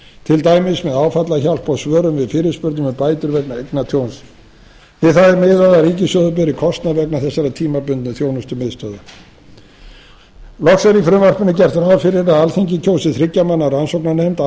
til dæmis með áfallahjálp og svörum við fyrirspurnum um bætur vegna eignatjóns við það er miðað að ríkissjóður beri kostnað vegna þessara tímabundnu þjónustumiðstöðvar loks er í frumvarpinu gert ráð fyrir að alþingi kjósi þriggja manna rannsóknarnefnd